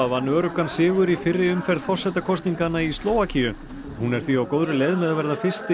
vann öruggan sigur í fyrri umferð forsetakosninganna í Slóvakíu hún er því á góðri leið með að verða fyrsti